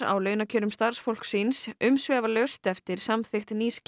á launakjörum starfsfólks síns umsvifalaust eftir samþykkt nýs